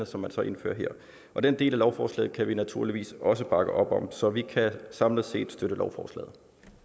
som så indføres her og den del af lovforslaget kan vi naturligvis også bakke op om så vi kan samlet set støtte lovforslaget